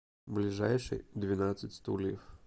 ближайший двенадцать стульев